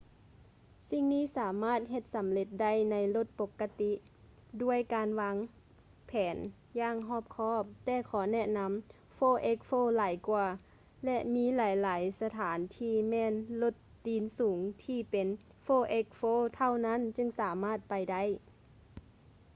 ສິ່ງນີ້ສາມາດເຮັດສຳເລັດໄດ້ໃນລົດປົກກະຕິ ດ້ວຍການການວາງແຜນຢ່າງຮອບຄອບ ແຕ່ຂໍແນະນຳ 4x4 ຫຼາຍກ່ວາ ແລະ ມີຫຼາຍໆສະຖານທີ່ແມ່ນລົດຕີນສູງທີ່ເປັນ 4x4 ເທົ່ານັ້ນຈຶ່ງສາມາດໄປໄດ້